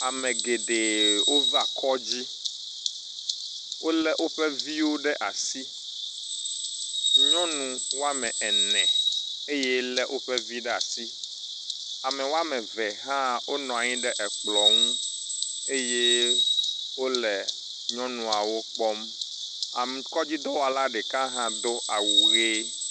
Ame geɖe wova kɔdzi. Wo le woƒe viwo ɖe asi. Nyɔnu wame ene eye le woƒe viwo ɖe asi. Ame wɔme eve hã wonɔ anyi ɖe ekplɔ nu eye wo le nyɔnuawo wo kpɔm. Am kɔdzidɔwɔla ɖeka hã do awu ʋi.